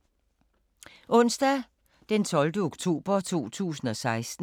Onsdag d. 12. oktober 2016